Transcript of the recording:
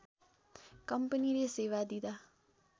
कम्पनीले सेवा दिँदा